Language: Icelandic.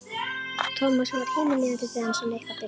Tomma sem varð himinlifandi þegar hann sá Nikka birtast.